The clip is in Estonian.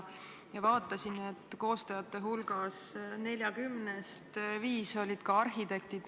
Ma vaatasin, et 40 koostajast viis olid arhitektid.